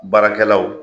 Baarakɛlaw